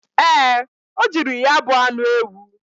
Ee, o jiri ya bu anụ ewu.